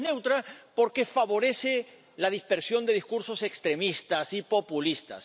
No es neutra, porque favorece la dispersión de discursos extremistas y populistas.